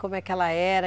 Como é que ela era?